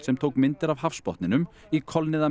sem tók myndir af hafsbotninum í